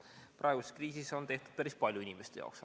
Praeguses kriisis on tehtud päris palju inimeste jaoks.